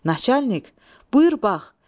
Naçalik, buyur bax.